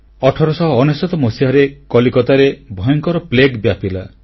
1899 ମସିହାରେ କଲିକତାରେ ଭୟଙ୍କର ପ୍ଲେଗ ବ୍ୟାପିଲା